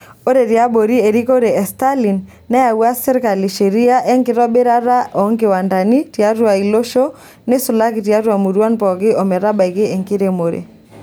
Ore tiabori erikore e Stalin neyawua serkali sheria enkitobirata oonkiwandani tiatu iloosho neisulaki tiatu muruan pookin ometabaiki enkiremore.